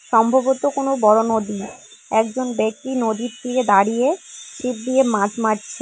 সম্ভবত কোনও বড় নদী একজন ব্যক্তি নদীর তীরে দাঁড়িয়ে ছিপ দিয়ে মাছ মারছে।